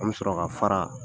An me sɔrɔ ka fara